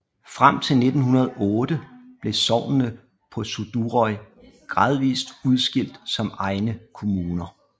Frem til 1908 blev sognene på Suðuroy gradvist udskilt som egne kommuner